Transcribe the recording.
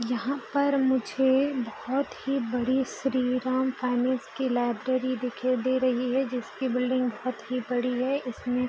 यहाँ पर मुझे बहुत ही बड़ी श्रीराम फाइनेंस की लाइब्रेरी दिखाई दे रही है जिसकी बिल्डिंग बहुत ही बड़ी है इसमे |